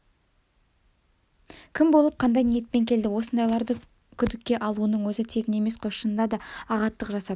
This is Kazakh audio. кім болып қандай ниетпен келді осындайларды күдікке алуының өзі тегін емес қой шынында да ағаттық жасап